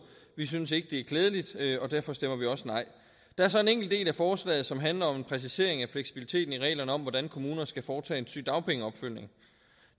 vi synes ikke at det er klædeligt og derfor stemmer vi også nej der er så en enkelt del af forslaget som handler om en præcisering af fleksibiliteten i reglerne om hvordan kommuner skal foretage en sygedagpengeopfølgning